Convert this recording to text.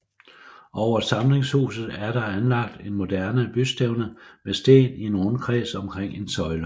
Overfor forsamlingshuset er der anlagt et moderne bystævne med sten i en rundkreds omkring en søjle